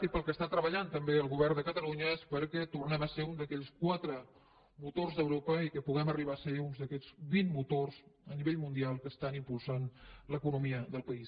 i per allò que està treballant també el govern de catalunya és perquè tornem a ser un d’aquells quatre motors d’europa i que puguem arribar a ser un d’aquests vint motors a nivell mundial que estan impulsant l’economia del país